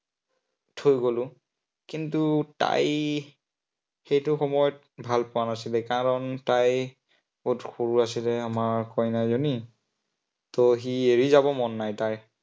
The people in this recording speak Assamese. থৈ গলো, কিন্তু তাই সেইটো সময়ত ভাল পোৱা নাছিলে, কাৰন তাই বহুত সৰু আছিলে আমাৰ কইনাজনী। ত সি এৰি যাব মন নাই তাইৰ